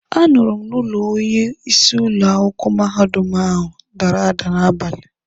A nụrụ m na ụlọ onye isi ụlọ akwụkwọ mahadum ahụ dara ada n'abalị.